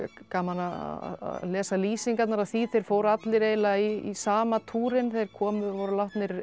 gaman að lesa lýsingarnar á því þeir fóru allir eiginlega í sama túrinn þeir komu og voru látnir